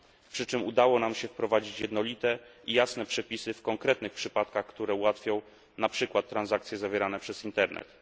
Przy czym udało nam się wprowadzić jednolite i jasne przepisy w konkretnych przypadkach, które ułatwią na przykład transakcje zawierane przez Internet.